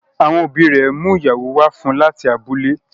Àwọn òbí rè mú ìyàwó wá fún láti abúlẹ̀.